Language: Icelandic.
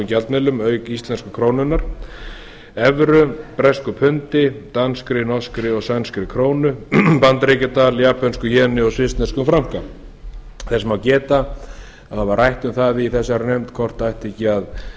gjaldmiðlum auk íslensku krónunnar evru bresku pundi danskri norskri og sænskri krónu bandaríkjadal japönsku jeni og svissneskum franka þess má geta að það var rætt um það í þessari nefnd hvort það ætti ekki í